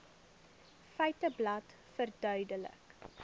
feiteblad verduidelik